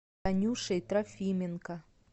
танюшей трофименко